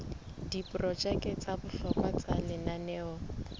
diprojeke tsa bohlokwa tsa lenaneo